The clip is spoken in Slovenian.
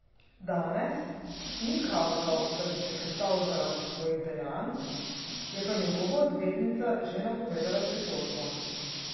Danes ni kazal, da bi se kesal zaradi svojih dejanj, je pa njegova odvetnica že napovedala pritožbo.